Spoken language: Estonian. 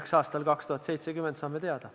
Eks aastal 2070 saame teada.